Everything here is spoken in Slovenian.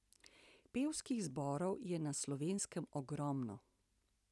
Pevskih zborov je na Slovenskem ogromno.